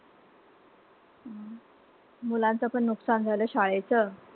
मुलांचं पण नुकसान झालं शाळेचं.